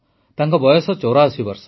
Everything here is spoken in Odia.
ତାଙ୍କ ବୟସ ୮୪ ବର୍ଷ